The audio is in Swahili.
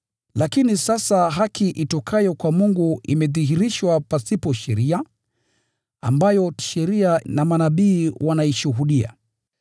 Lakini sasa, haki itokayo kwa Mungu imedhihirishwa pasipo sheria, ambayo Sheria na Manabii wanaishuhudia.